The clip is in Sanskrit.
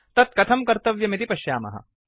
तत् कथं कर्तव्यमिति पश्यामः